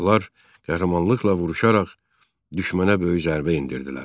Onlar qəhrəmanlıqla vuruşaraq düşmənə böyük zərbə endirdilər.